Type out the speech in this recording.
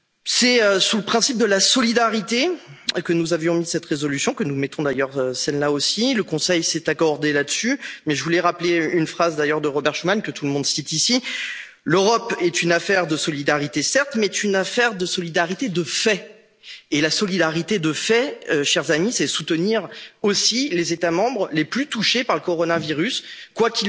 C'est sous le principe de la solidarité que nous avions placé cette résolution, et que nous plaçons d'ailleurs celle là aussi. Le Conseil s'est accordé là dessus. Mais je voulais rappeler une phrase de Robert Schuman, que tout le monde cite ici l'Europe est une affaire de solidarité, certes, mais c'est une affaire de solidarité de fait. La solidarité de fait, chers amis, c'est soutenir aussi les États membres les plus touchés par le coronavirus,